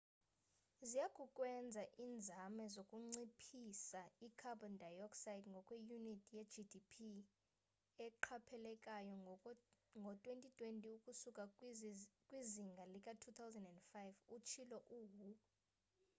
ziyakukwenza inzame zokunciphisa i-carbon dioxide ngokwe unit ye-gdp eqaphelekayo ngo 2020 ukusuka kwizinga lika 2005 utshilo u-hu